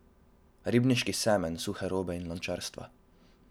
Ribniški semenj suhe robe in lončarstva.